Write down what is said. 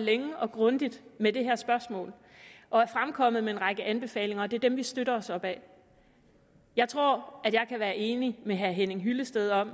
længe og grundigt med det her spørgsmål og er fremkommet med en række anbefalinger det er dem vi støtter os op ad jeg tror at jeg kan være enig med herre henning hyllested om